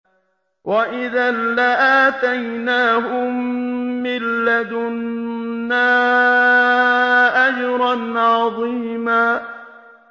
وَإِذًا لَّآتَيْنَاهُم مِّن لَّدُنَّا أَجْرًا عَظِيمًا